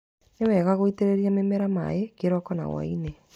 Nĩ wega gũitĩrĩria mĩmera maaĩ kĩroko na hwa-inĩ.